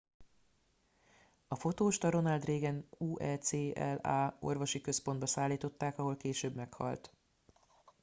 a fotóst a ronald reagan ucla orvosi központba szállították ahol később meghalt